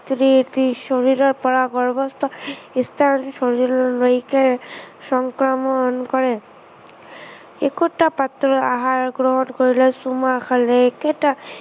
স্ত্ৰীৰ শৰীৰৰ পৰা গৰ্ভস্থ সন্তানৰ শৰীৰলৈকে সংক্ৰমণ কৰে। একোটা পাত্ৰত আহাৰ গ্ৰহণ কৰিলে, চুমা খালে, একেটা